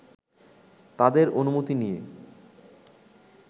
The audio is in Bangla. তাঁদের অনুমতি নিয়ে